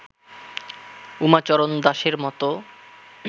উমাচরণ দাসের মত